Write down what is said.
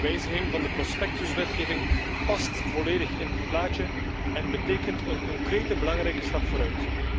De wijziging van de prospectuswetgeving past volledig in dit plaatje en betekent een concrete, belangrijke stap vooruit.